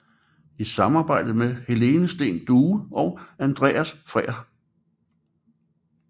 I samarbejde med Helene Steen Due og Andreas Frehr